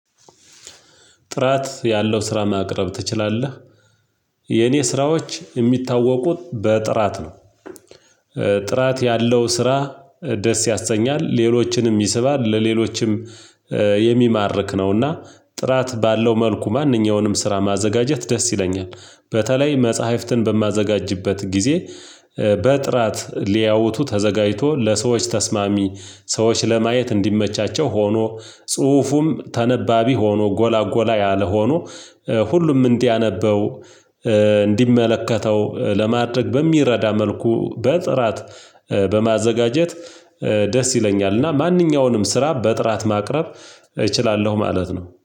ጥራት ያለው ስራ ማቅረብ ትችላለህ? የኔ ስራዎች የሚታወቁት በጥራት ነው። ጥራት ያለው ስራ ደስ ያሰኛል ሌሎችንም ይስባል ለሌሎችም የሚማርክ ነውና ጥራት ባለው መልኩ ማንኛውንም ስራ ማዘጋጀት ደስ ይለኛል። በተለይ መጽሐፍትን በማዘጋጅበት ጊዜ። በጥራት ሊያውቱ ተዘጋጅቶ ለሰዎች ተስማሚ ሰዎች ለማየት እንዲመቻቸው ሆኖ ጽሁፉም ተነባቢ ሆኖ ጎላጎላ ጎላ ያለ ሆኖ ሁሉም እንዲያነበው እንዲመለከተው ለማድረግ በሚረዳ መልኩ በጥራት በማዘጋጀት ደስ ይለኛል። እና ማንኛውንም ስራ በጥራት ማቅረብ እችላለሁ ማለት ነው